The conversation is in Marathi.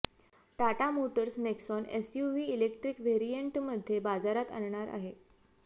Tata Motors Nexon SUV electric व्हेरिएंटमध्ये बाजारात आणणार आहे